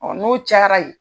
Ɔ n'o cayara ye.